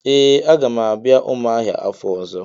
Ee a ga m abia Umuahia afo ozo.